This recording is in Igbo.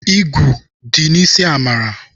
Igwụ dị n'isi Amara.